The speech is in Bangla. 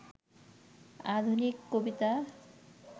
আধুনিক কবিতা